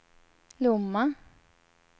Lomma